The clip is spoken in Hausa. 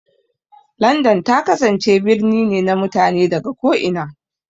London ta kasance birni ne na mutane daga ko'ina.